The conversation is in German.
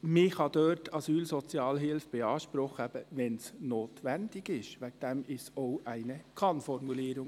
Man kann dort Asylsozialhilfe beanspruchen, wenn es notwendig ist, und deshalb ist es eine Kann-Formulierung.